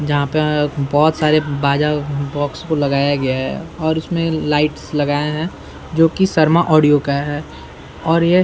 जहाँ पे बहुत सारे बाजा-बॉक्स को लगाया गया हैं और उसमें लाइट्स लगाए हैं जो शर्मा ऑडियो का है और ये --